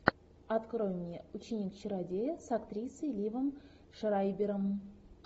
открой мне ученик чародея с актрисой ливом шрайбером